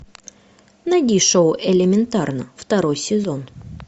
найди шоу элементарно второй сезон